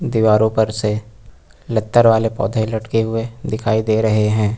दीवारों पर से लतर वाले पौधे लटके हुए दिखाई दे रहे हैं।